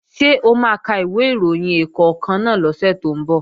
Ṣé o máa ka ìwé ìròyìn ẹ̀ẹ̀kọ̀kan náà lọ́sẹ̀ tó ń bọ̀?